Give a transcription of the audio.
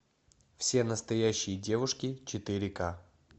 все настоящие девушки четыре ка